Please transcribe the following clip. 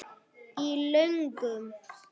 Í lögum